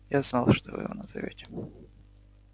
я знал что вы его назовёте